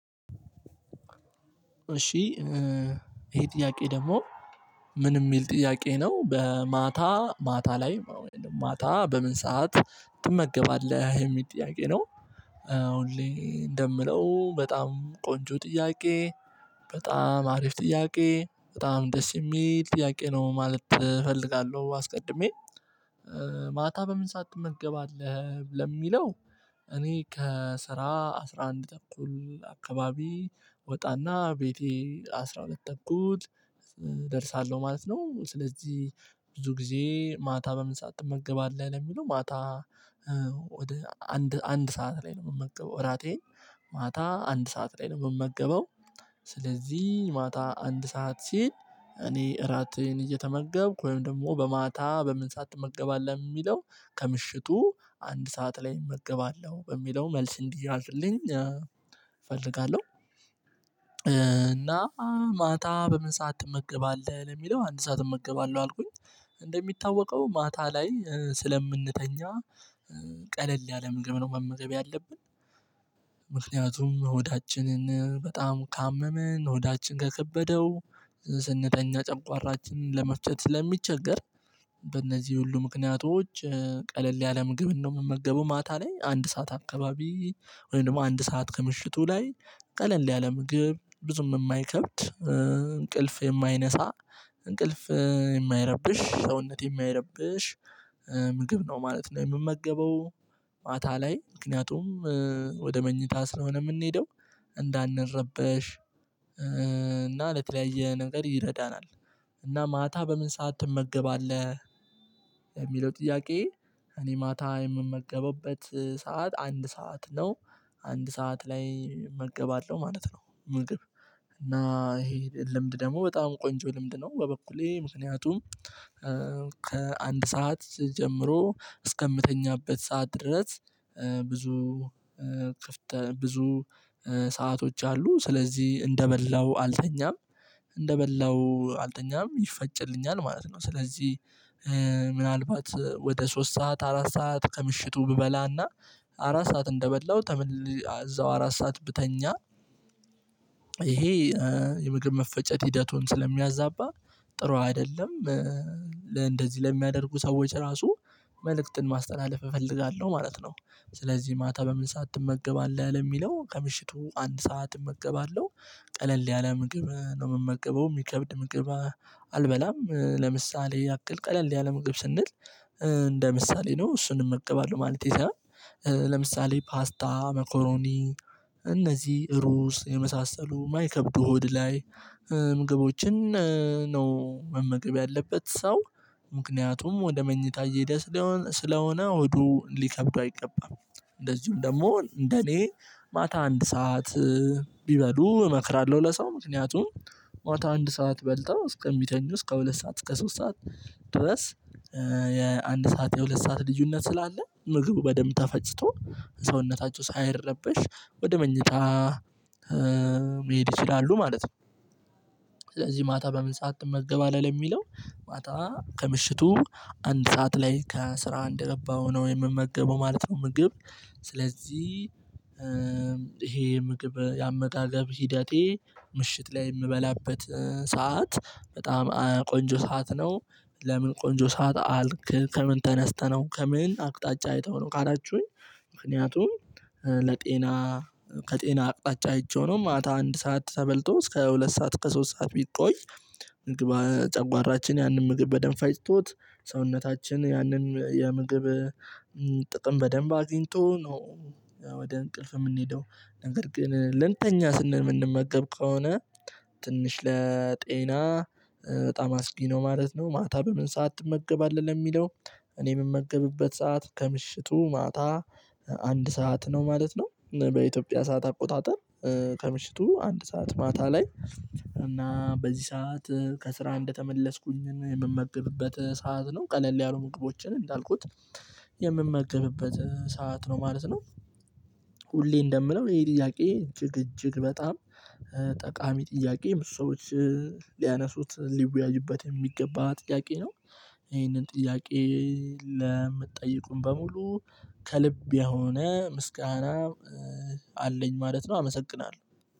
እሺ ይሄ ጥያቄ ደግሞ ምን የሚል ጥያቄ ነው በማታ ማታ ላይ ማታ በምን ሰዓት ትመገባለህ የሚል ጥያቄ ነው? አሁን እንደምለው በጣም ቆንጆ ጥያቄ በጣም አሪፍ ጥያቄ በጣም ደስ የሚል ጥያቄ ነው ማለት እፈልጋለሁ። አስቀድሜ ማታ በምን ሰዓት ትመገባለህ ለሚለው እኔ ከስራ አስራ አንድ ተኩል አካባቢ ወጣና ቤቴ አስራ ሁለት እኩል እደርሳለሁ ማለት ነው። ስለዚህ ብዙ ጊዜ ማታ በምን ሰዓት ትመገባለህ ለሚለው ማታ ወደ አንድ አንድ ሰዓት ላይ ነው የምመገበው። እራቴን ማታ አንድ ሰዓት ላይ ነው የምመገበው። ስለዚህ ማታ አንድ ሰዓት ሲል እኔ እራቴን እየተመገብኩ ወይም ደግሞ በማታ በምን ሰዓት ትመገባለህ የሚለው ከምሽቱ አንድ ሰዓት ላይ እመገባለሁ በሚለው መልስ እንዲያዝልኝ እፈልጋለሁ። እና ማታ በምን ሰዓት እመገባለሁ ለሚለው አንድ ሰዓት እመገባለሁ አልኩኝ። እንደሚታወቀው ማታ ላይ ስለምንተኛ ቀለል ያለ ምግብ ነው መመገብ ያለብን። ምክንያቱም ሆዳችንን በጣም ካመመን ሆዳችን ከከበደው ስንተኛ ጨቋራችንን ለመፍጨት ስለሚቸገር። በእነዚህ ሁሉ ምክንያቶች ቀለል ያለ ምግብ እንደምመገበው ማታ ላይ አንድ ሰዓት አካባቢ ወይም ደግሞ አንድ ሰዓት ከምሽቱ ላይ ቀለል ያለ ምግብ ብዙም የማይከብድ እንቅልፍ የማይነሳ እንቅልፍ የማይረብሽ ሰውነት የሚያይረብሽ ምግብ ነው ማለት ነው የምመገበው። ማታ ላይ ምክንያቱም ወደ መኝታ ስለሆነ የምንሄደው እንዳንረበሽ እና ለተለያየ ነገር ይረዳናል። እና ማታ በምን ሰዓት ትመገባለህ? ለሚለው ጥያቄ እኔ ማታ የምመገበበት ሰዓት አንድ ሰዓት ነው። አንድ ሰዓት ላይ እመገባለሁ ማለት ነው። ምግብ እና ይሄ ልምድ ደግሞ በጣም ቆንጆ ልምድ ነው። በበኩሌ ምክንያቱም ከአንድ ሰዓት ጀምሮ እስከምተኛበት ሰዓት ድረስ ብዙ ብዙ ሰአቶች አሉ ስለዚህ እንደበላው አልተኛም። እንደበላው አልጠኛም ይፈጭልኛል ማለት ነው። ስለዚህ ምናልባት ወደ ሶስት ሰዓት አራት ሰዓት ከምሽቱ ብበላና አራት ሰዓት እንደበላው እዛው አራት ሰዓት ብተኛ ይሄ የምግብ መፈጨት ሂደቱን ስለሚያዛባ ጥሩ አይደለም። እንደዚህ ለሚያደርጉ ሰዎች ራሱ መልእክትን ማስተላለፍ እፈልጋለሁ ማለት ነው። ስለዚህ ማታ በምን ሳትመገባለህ ያለ የሚለው ከምሽቱ አንድ ሰዓት እመገባለሁ። ቀለል ያለ ምግብ ነው የምመገበው የሚከብድ ምግብ አልበላም። ለምሳሌ ያክል ቀለል ያለ ምግብ ስንል እንደ ምሳሌ ነው እሱንም እመገባለሁ ማለቴ ሳይሆን። ለምሳሌ ፓስታ መኮሮኒ እነዚህ ሩዝ የመሳሰሉ የማይከብዱ ሆድ ላይ ምግቦችን ነው መመገብ ያለበት ሰው። ምክንያቱም ወደ መኝታ እየሄደ ስለሆነ ስለሆነ ሆዱ ሊከብደው አይገባም። እንደዚሁም ደግሞ እንደኔ ማታ አንድ ሰዓት ቢበሉ እመክራለሁ። ለሰው ምክንያቱም ማታ አንድ ሰዓት በልተው እስከ እምቢተኙ እስከ ሁለት ሰዓት እስከ ሶስት ሰዓት ድረስ የአንድ ሰዓት የሁለት ሰዓት ልዩነት ስላለ ምግቡ በደንብ ተፈጭቶ ሰውነታቸው ሳይረብሽ ወደ መኝታ መሄድ ይችላሉ ማለት ነው። ስለዚህ ማታ በምን ሰዓት ትመገባለህ ለሚለው? ማታ ከምሽቱ አንድ ሰዓት ላይ ከስራ እንደገባው ነው የምመገበው ማለት ነው። ምግብ ስለዚህ ይሄ ምግብ ያመጋገብ ሂደቴ ምሽት ላይ የምበላበት ሰዓት በጣም ቆንጆ ሰዓት ነው። ለምን ቆንጆ ሰዓት አልክ ከምን ተነስተህ ነው ከምን አቅጣጫ አይተኸው ነው ካላችሁኝ? ምክንያቱም ለጤና ከጤና አቅጣጫ አይቼው ነው ማታ አንድ ሰዓት ተበልቶ እስከ ሁለት ሰዓት ከሶስት ሰዓት ቢቆይ። ጨጓራችን ያንን ምግብ በደንብ አይስጦት ሰውነታችን ያንን የምግብ ጥቅም በደንብ አግኝቶ ነው። ወደ እንቅልፍ የምንሄደው። ነገር ግን ልንተኛ ስንል የምንመገብ ከሆነ ትንሽ ለጤና በጣም አስጊ ነው ማለት ነው። ማታ በምን ሰዓት አትመገባለል የሚለው? እኔ የምመገብበት ሰዓት ከምሽቱ ማታ አንድ ሰዓት ነው ማለት ነው። በኢትዮጵያ ሰዓት አቆጣጠር ከምሽቱ አንድ ሰዓት ማታ ላይ። እና በዚህ ሰዓት ከስራ እንደተመለስኩኝ የምመግብበት ሰዓት ነው ቀለል ያሉ ምግቦችን እንዳልኩት የምመገብበት ሰዓት ነው ማለት ነው። ሁሌ እንደምነው ይሄ ጥያቄ እጅግ እጅግ በጣም ጠቃሚ ጥያቄ ሰዎች ሊያነሱት ሊወያዥበት የሚገባ ጥያቄ ነው። ይሄንን ጥያቄ ለምትጠይቁም በሙሉ ከልብ የሆነ ምስጋና አለኝ ማለት ነው። አመሰግናለሁ።